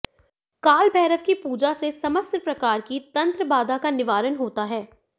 काल भैरव की पूजा से समस्त प्रकार की तंत्र बाधा का निवारण होता है